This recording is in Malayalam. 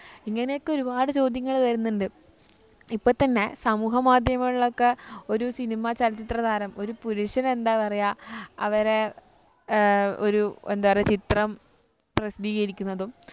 ഇങ്ങനെയൊക്കെ ഒരുപാട് ചോദ്യങ്ങൾ വരുന്നുണ്ട് ഇപ്പൊത്തന്നെ സമൂഹ മാധ്യമങ്ങളിലൊക്കെ ഒരു cinema ചലച്ചിത്രതാരം ഒരു പുരുഷനെന്താ പറയാ അവരെ ഏർ ഒരു എന്താ പറയാ ചിത്രം പ്രസിദ്ധീകരിക്കുന്നതും